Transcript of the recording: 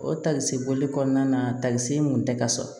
O tali boli kɔnɔna na takisi mun tɛ ka sɔrɔ